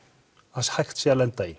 að hægt sé að lenda í